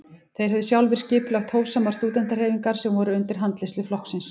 Þeir höfðu sjálfir skipulagt hófsamar stúdentahreyfingar sem voru undir handleiðslu flokksins.